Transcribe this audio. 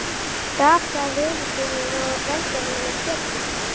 Gaf það vini sínum og velgerðarmanni Pétri